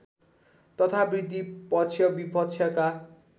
तथा वृद्धि पक्षविपक्षका